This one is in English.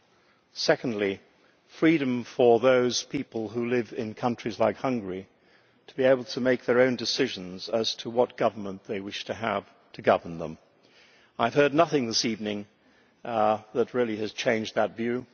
The second is freedom for those people who live in countries like Hungary to be able to make their own decisions as to what government they wish to have to govern them. I have heard nothing this evening that has really changed that view.